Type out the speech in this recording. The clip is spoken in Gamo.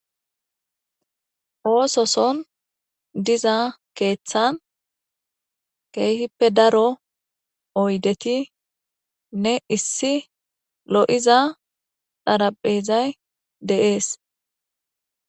Oososon diza keeththan keehippe daro oydetinne issi lo'iza xaraphezay de'es.